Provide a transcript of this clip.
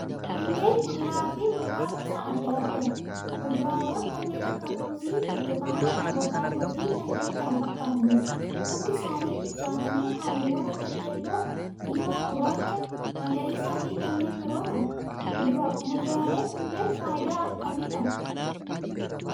Kunneen kuduraafi muduraa gosa addaa addaati. Muduraawwan kanneen akka muuzii, burtukaana, avokaadoofi kanneen kana fakkaataniidha. Hundi isaanii bilchaatanii halluuwwan akka: keelloo, diimaa-gurraacha, magariisaafi kanneen biroo qabu. Muduraaleen kunneen faayidaa akkamii qabu?